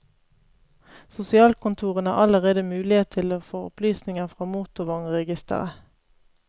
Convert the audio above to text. Sosialkontorene har allerede mulighet til å få opplysninger fra motorvognregisteret.